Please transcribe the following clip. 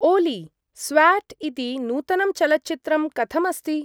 ओली, स्व्याट् इति नूतनं चलच्चित्रं कथमस्ति?